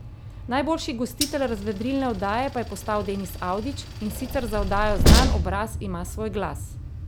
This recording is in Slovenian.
Najboljši gostitelj razvedrilne oddaje pa je postal Denis Avdić, in sicer za oddajo Znan obraz ima svoj glas.